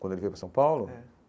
Quando ele veio para São Paulo? É